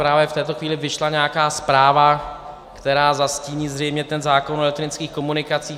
Právě v této chvíli vyšla nějaká zpráva, která zastíní zřejmě ten zákon o elektronických komunikacích.